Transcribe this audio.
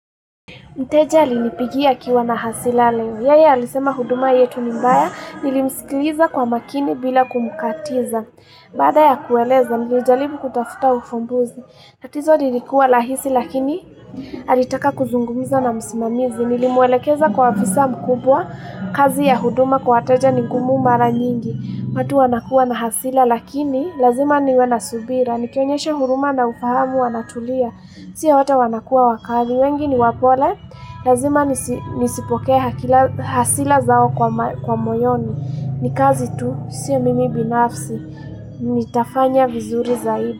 Mteja alinipigia akiwa na hasira leo. Yeye alisema huduma yetu ni mbaya. Nilimsikiliza kwa makini bila kumkatiza. Baada ya kueleza nilijaribu kutafuta ufumbuzi. Tatizo lilikuwa rahisi, lakini alitaka kuzungumza na msimamizi. Nilimwelekeza kwa afisa mkubwa. Kazi ya huduma kwa wateja ni ngumu mara nyingi. Watu wanakuwa na hasira, lakini lazima niwe na subira. Nikionyesha huruma na ufahamu wanatulia Sio wote wanakuwa wakali, wengi ni wapole. Lazima nisipokee hasira zao moyoni. Ni kazi tu, sio mimi binafsi. Nitafanya vizuri zaidi.